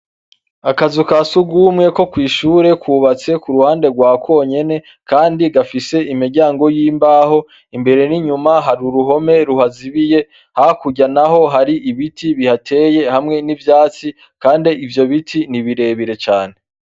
Akazu kasugume ko kwishure kubatse uruhande rwa konyene kandi gafise imiryango yimbaho imbere ninyuma hari uruhome ruhazibiye hakurya naho hari ibiti bihateye hamwe nivyatsi kandi ivyo biti nibirebire cane